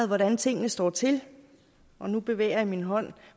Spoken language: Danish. hvordan tingene står til og nu bevæger jeg min hånd